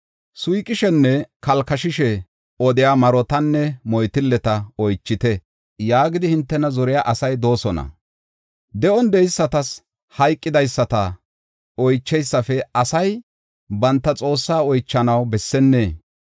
“Suyqishenne kalkashishe odiya marotanne moytilleta oychite” yaagidi hintena zoriya asay de7oosona. De7on de7eysatas hayqidaysata oycheysafe asay banta Xoossaa oychanaw bessennee?